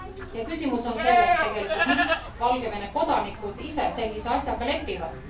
Ja küsimus on tegelikult selles, miks Valgevene kodanikud ise sellise asjaga lepivad.